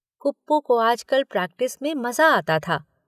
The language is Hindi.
कुप्पू को आजकल प्रैक्टिस में मजा आता था।